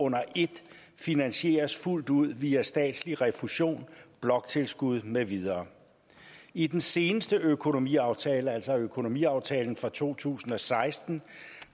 under et finansieres fuldt ud via statslig refusion bloktilskud med videre i den seneste økonomiaftale altså økonomiaftalen for to tusind og seksten